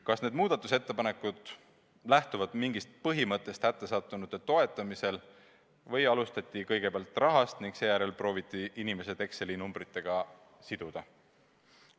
Kas need muudatusettepanekud lähtuvad mingist põhimõttest hätta sattunute toetamisel või alustati kõigepealt rahast ning seejärel prooviti inimesed Exceli tabeli numbritega siduda?